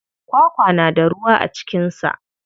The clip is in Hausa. Kwakwa na da ruwa a cikin sa.